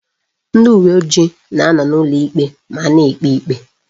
Ndị uweojii na anọ n'ụlọikpe ma a na-ekpe ikpe.